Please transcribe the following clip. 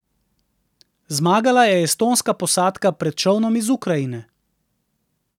Zmagala je estonska posadka pred čolnom iz Ukrajine.